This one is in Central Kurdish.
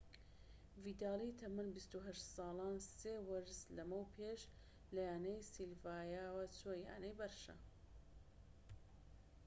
ڤیدالی تەمەن ٢٨ ساڵان سێ وەرز لەمەو پێش لەیانەی سیڤیلیاوە چووە یانەی بەرشە